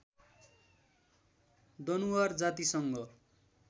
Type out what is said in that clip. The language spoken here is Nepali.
दनुवार जातिसँग